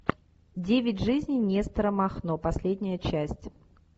девять жизней нестора махно последняя часть